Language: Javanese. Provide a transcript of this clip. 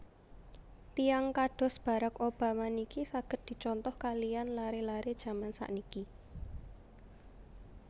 Tiyang kados Barrack Obama niki saget dicontoh kaliyan lare lare jaman sakniki